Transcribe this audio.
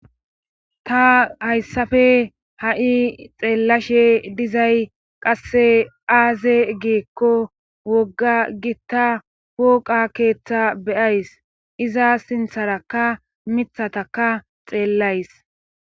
ta hayssafe ha7i xeellashe dizay qasse aaze geekko wogga gitta woqa keeththa beyays iza sintharaka mithataka xeellays